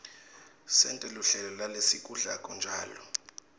sente luhlelo lalesikudlako njalo